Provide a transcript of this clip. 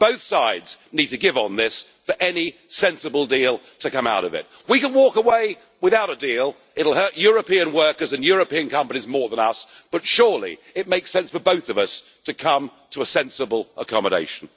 Both sides need to give on this for any sensible deal to come out of it. We can walk away without a deal, it will hurt European workers and European companies more than us, but surely it makes sense for both of us to come to a sensible accommodation.